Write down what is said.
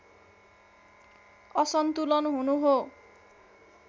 असन्तुलन हुनु हो